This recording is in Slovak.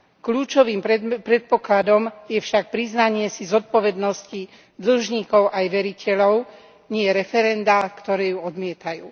Kľúčovým predpokladom je však priznanie si zodpovednosti dlžníkov aj veriteľov, nie referendá, ktoré ju odmietajú.